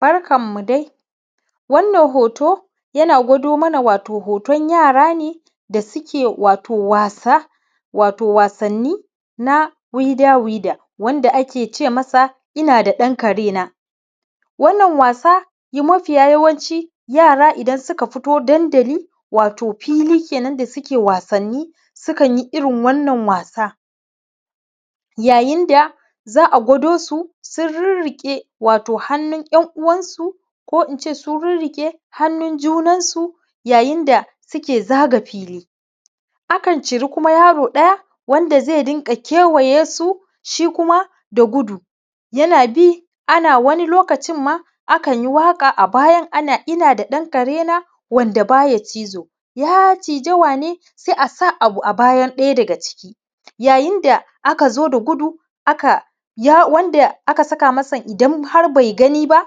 Barkanmu dai. Wannan hoto yana gwado mana wato hoton yara ne, da suke wasa, wato wasanni na wido-wido, wanda ake ce masa ‘ina da ɗan karena’. Wannan wasa mafi yawanci, yara idan suka fito dandali, wato fili kenan da suke wasanni, sukan yi irin wannan wasa, yayin da za a gwado su sun rirriƙe wato hannun ‘yan uwansu ko in ce sun rirriƙe hannun junansu yayin da suke zaga fili. Akan ciri kuma yaro ɗaya wanda zai dinga kewaye su shi kuma da gudu, yana bi wani lokacin ma akan yi waƙa a bayan, ana ina da ɗan karena, wanda ba ya cizo, ya ciza wane? Sai a sa abu a bayan ɗaya daga ciki. Yayin da aka zo da gudu, aka, wanda aka saka masa idan har bai gani ba,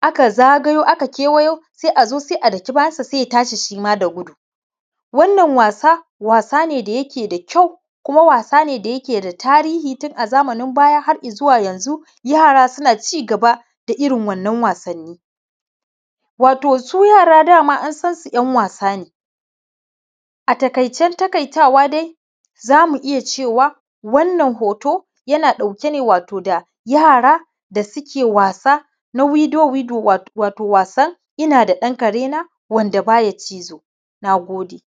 aka zagayo, aka kewayo, sai a zo, sai a daki bayansa, sai ya tashi shi ma da gudu. Wannan wasa, wasa ne da yake da kyau, kuma wasa ne da yake da tarihi a zamanin baya har i zuwa yanzu yara suna ci gaba da irin wannan wasanni. Wato su yara dama an san su ‘yan wasa ne. a taƙaicen taƙaitawa dai, za mu iya cewa wannan hoto, yana ɗauke ne wato da yara da suke wasa wato na wido-wido, wato was an ina da ɗan karena wand aba ya cizo. Na gode.